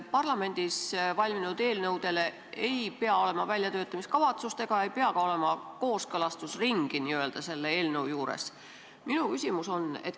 Parlamendis valminud eelnõudel ei pea olema väljatöötamiskavatsust ega pea olema ka kooskõlastusringi.